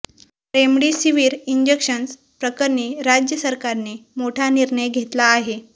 remdesivir injections प्रकरणी राज्य सरकारने मोठा निर्णय घेतला आहे